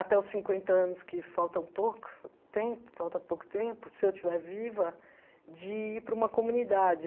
até os cinquenta anos que faltam pouco tempo falta pouco tempo, se eu estiver viva, de ir para uma comunidade.